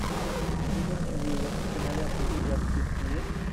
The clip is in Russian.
сигурни уивер кинолента у тебя в списке есть